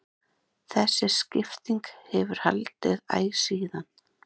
þessi skipting hefur haldist æ síðan